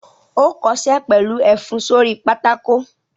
Ó kọṣẹ́ pẹ̀lú ẹfun sórí pátákó!